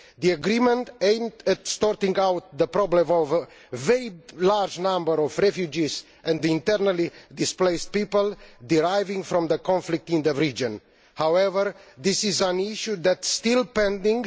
The agreement was aimed at sorting out the problem of the very large numbers of refugees and internally displaced people deriving from the conflict in the region. However, this is an issue that is still pending.